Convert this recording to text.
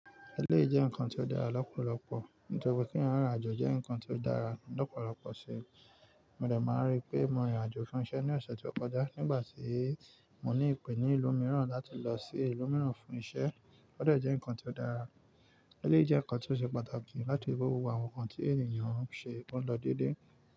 Eléyìí jẹ́ nǹkan tó dára lọ́pọ̀lọpọ̀, ní tọri kí eeyan rìn irinàjò jẹ́ nǹkan tó dára lọ́pọ̀lọpọ̀ si. Mo dẹ̀ máa n rí i pé mo rìnrìnàjò fún iṣẹ́ ní ọ̀sẹ̀ tí ó kọjá nígbà tí mo ní ìpè ní ìlú mìíràn láti lọ sí ìlú mìíràn fún iṣẹ́. Ó dẹ̀ jẹ́ nǹkan tí ó dára. Eléyìí jẹ́ nǹkan tí ó ṣe pàtàkì láti wo gbogbo àwọn nǹkan tí ènìyàn ń ṣe pọ̀n lọ déédéé.